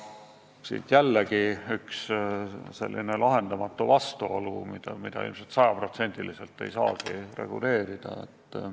Siin ongi mängus lahendamatu vastuolu, mida ilmselt sajaprotsendiliselt ei saagi reguleerida.